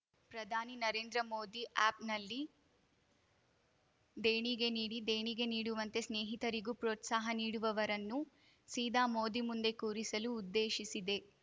ಪ್ರಧಾನಿ ನರೇಂದ್ರ ಮೋದಿ ಆ್ಯಪ್‌ನಲ್ಲಿ ದೇಣಿಗೆ ನೀಡಿ ದೇಣಿಗೆ ನೀಡುವಂತೆ ಸ್ನೇಹಿತರಿಗೂ ಪ್ರೋತ್ಸಾಹ ನೀಡುವವರನ್ನು ಸೀದಾ ಮೋದಿ ಮುಂದೆ ಕೂರಿಸಲು ಉದ್ದೇಶಿಸಿದೆ